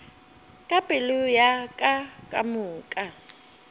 ka pelo ya ka kamoka